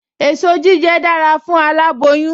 Èso jíjẹ dára fún aláboyún